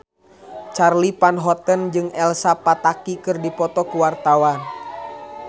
Charly Van Houten jeung Elsa Pataky keur dipoto ku wartawan